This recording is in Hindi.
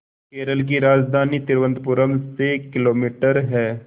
केरल की राजधानी तिरुवनंतपुरम से किलोमीटर है